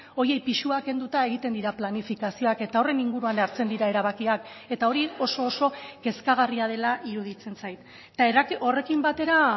horiei pisua kenduta egiten dira planifikazioak eta horren inguruan hartzen dira erabakiak eta hori oso oso kezkagarria dela iruditzen zait eta horrekin batera